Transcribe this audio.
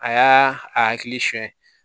A y'a a hakilisɛn